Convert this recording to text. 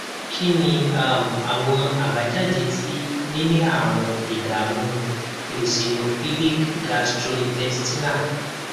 kí ni um àwọn àbájáde tí níní àrùn ìdààmú eosinophilic gastrointestinal